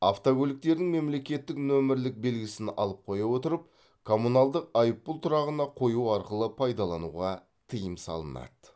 автокөліктердің мемлекеттік нөмірлік белгісін алып қоя отырып коммуналдық айыппұл тұрағына қою арқылы пайдалануға тыйым салынады